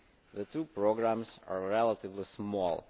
The two programmes are relatively small.